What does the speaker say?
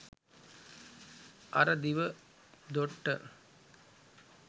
අර දිව දොට්ට